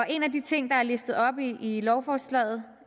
en af de ting der er listet op i lovforslaget